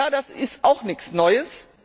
Das ist auch nichts Neues.